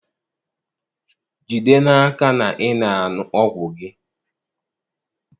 Jide n'aka na ị na-aṅụ ọgwụ gị